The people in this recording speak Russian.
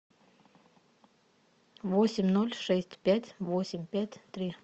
восемь ноль шесть пять восемь пять три